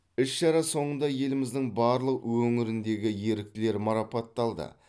іс шара соңында еліміздің барлық өңіріндегі еріктілер марапатталды